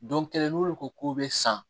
kelen n'olu ko k'u bɛ san